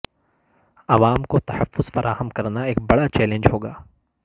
عوام کو تحفظ فراہم کرنا ایک بڑا چیلنج ہوگا